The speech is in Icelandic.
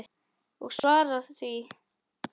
Og svara því.